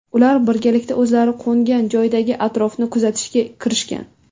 Ular birgalikda o‘zlari qo‘ngan joydagi atrofni kuzatishga kirishgan.